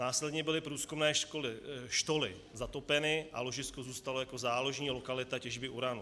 Následně byly průzkumné štoly zatopeny a ložisko zůstalo jako záložní lokalita těžby uranu.